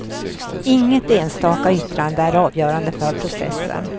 Inget enstaka yttrande är avgörande för processen.